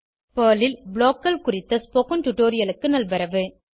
Perl ல் BLOCKகள் குறித்த ஸ்போகன் டுடோரியலுக்கு நல்வரவு